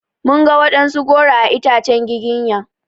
Mun ga waɗansu goro a itacen giginya.